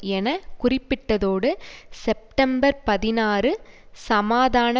என குறிப்பிட்டதோடு செப்டம்பர் பதினாறு சமாதான